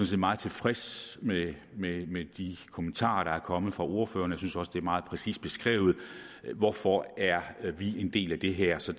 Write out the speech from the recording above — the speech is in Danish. set meget tilfreds med med de kommentarer der er kommet fra ordførerne jeg synes også det er meget præcist beskrevet hvorfor vi er en del af det her så